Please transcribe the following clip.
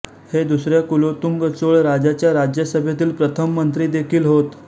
हे दुसऱ्या कुलोत्तुंग चोळ राजाच्या राज्यसभेतील प्रथम मंत्री देखिल होत